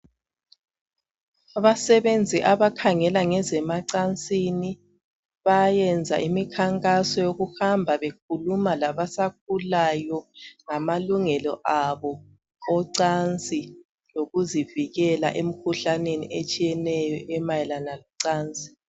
Abasebenzi abakhangela ngezemacansini bayayenza imikhankaso yokuhamba bekhuluma labasakhulayo ngamalungelo abo ocansi, lokuzivikela emikhuhlaneni etshiyeneyo emayelana locansi.